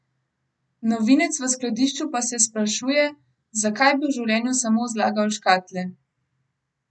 Novinec v skladišču pa se sprašuje, zakaj bi v življenju samo zlagal škatle?